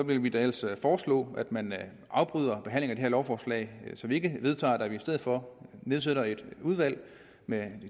vil vi da ellers foreslå at man afbryder behandlingen af lovforslag så vi ikke vedtager at vi i stedet for nedsætter et udvalg med